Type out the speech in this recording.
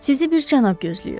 Sizi bir cənab gözləyir.